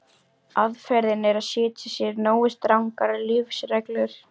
Aðferðin er að setja sér nógu strangar lífsreglur.